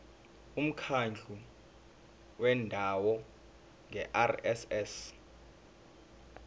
umkhandlu wendawo ngerss